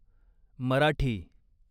Marathi